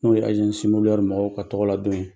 N'o ye mɔgɔw ka tɔgɔla don ye.